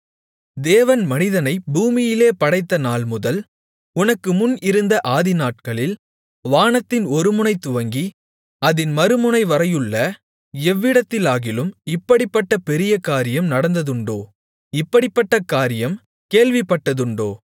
தேவன் மனிதனைப் பூமியிலே படைத்த நாள்முதல் உனக்கு முன் இருந்த ஆதிநாட்களில் வானத்தின் ஒருமுனை துவங்கி அதின் மறுமுனைவரையுள்ள எவ்விடத்திலாகிலும் இப்படிப்பட்ட பெரிய காரியம் நடந்ததுண்டோ இப்படிப்பட்ட காரியம் கேள்விப்பட்டதுண்டோ